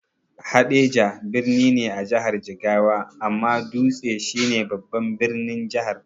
Haɗeja birni ne a jihar Jigawa, amma Dutse shi ne babban birnin Jihar.